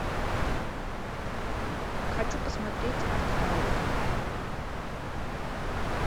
хочу посмотреть артхаус